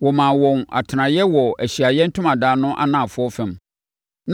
Wɔmaa wɔn atenaeɛ wɔ Ahyiaeɛ Ntomadan no anafoɔ fam.